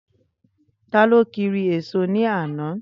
Taló kiri èso ní àná?